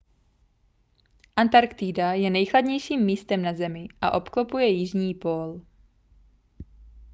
antarktida je nejchladnějším místem na zemi a obklopuje jižní pól